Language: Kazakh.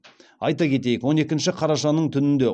айта кетейік он екінші қарашаның түнінде